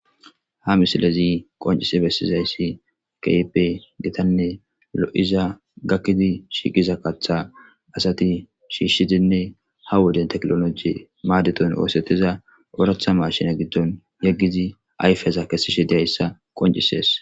Ha misilezi qoncissi bessizayssi keehippe gittanne lo'iza gakkine shiiqiza kaththa asatti shishshidinne ha wode teknolojje madettan osettiza oraththa machinne giddon yeggizi ayfezza kessishe dizayssa qonccisees.